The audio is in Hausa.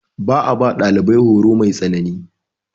Ba a ba ɗalibai horo mai tsanani.